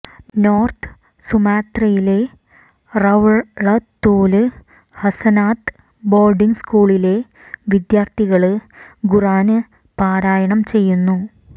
north സുമാത്രയിലെ റൌളതുല് ഹസനാത് ബോര്ഡിങ് സ്കൂളിലെ വിദ്യാര്ഥികള് ഖുര്ആന് പാരായണം ചെയ്യുന്നു